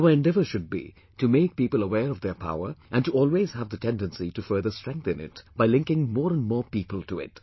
And our endeavour should be to make people aware of their power and to always have the tendency to further strengthen it by linking more and more people to it